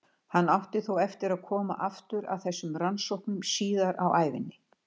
Hann átti þó eftir að koma aftur að þessum rannsóknum síðar á ævinni.